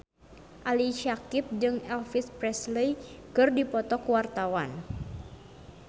Ali Syakieb jeung Elvis Presley keur dipoto ku wartawan